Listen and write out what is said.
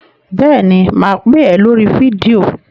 Bẹ́ẹ̀ ni, mà á pè é lórí fídíò.